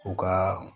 U ka